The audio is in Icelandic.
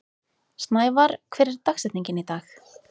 Snævarr, hver er dagsetningin í dag?